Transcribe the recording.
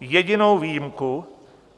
Jedinou výjimku